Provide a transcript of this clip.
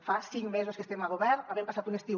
fa cinc mesos que estem a govern havent passat un estiu